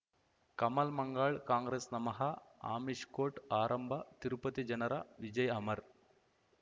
ಕಮಲ್ ಮಂಗಳ್ ಕಾಂಗ್ರೆಸ್ ನಮಃ ಅಮಿಷ್ ಕೋರ್ಟ್ ಆರಂಭ ತಿರುಪತಿ ಜನರ ವಿಜಯ ಅಮರ್